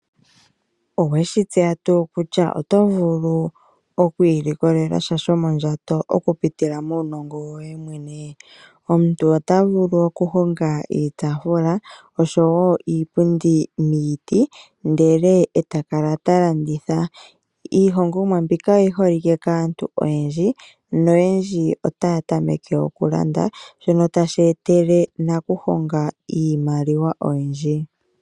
Oweshi tseya tuu kutya oto vulu okwiilikolelasha shomondjato okupitila muunongo woye mwene? Omuntu ota vulu okuhonga iitafula oshowo iipundi miiti ndele e taka ta landitha. Iihongomwa mbika oyi holike kaantu oyendji noyendji otaya tameke okulanda shono tashi etele nakuhonga iimaliwa.